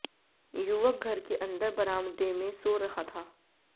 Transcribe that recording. युवक घर के अंदर बरामदे में सो रहा था